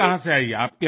હા જી સાહેબ